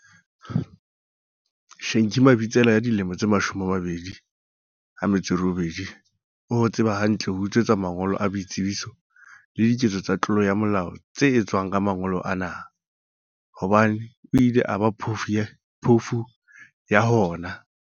Shenki Mabitsela ya dilemo di 28 o ho tseba hantle ho utswetswa mangolo a boitsebiso le diketso tsa tlolo ya molao tse etswang ka mangolo ana, hobane o ile a ba phofu ya hona